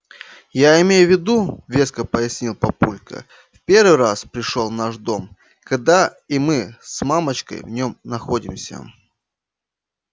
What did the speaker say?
я имею в виду веско пояснил папулька в первый раз пришёл в наш дом когда и мы с мамочкой в нём находимся